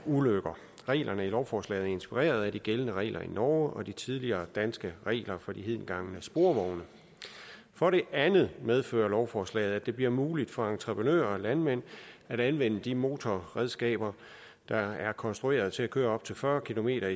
ulykker reglerne i lovforslaget er inspireret af de gældende regler i norge og de tidligere danske regler for de hedengangne sporvogne for det andet medfører lovforslaget at det bliver muligt for entreprenører og landmænd at anvende de motorredskaber der er konstrueret til at køre op til fyrre kilometer